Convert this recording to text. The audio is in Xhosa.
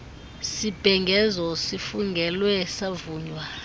sibhengezo sifungelwe savunywa